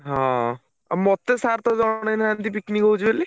ହଁ ଆଉ ମତେ sir ତ ଜଣେଇ ନାହାଁନ୍ତି picnic ହଉଛି ବୋଲି।